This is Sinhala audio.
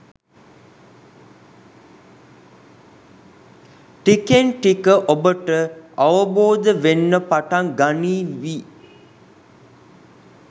ටිකෙන් ටික ඔබට අවබෝධ වෙන්න පටන් ගනීවි